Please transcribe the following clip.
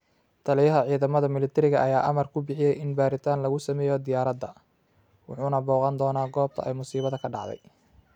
Taliyaha ciidamada Milateriga ayaa amar ku bixiyay in baaritaan lagu sameeyo diyaaradda, wuxuuna booqan doonaa goobta ay musiibada ka dhacday.